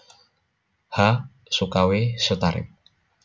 H Sukawi Sutarip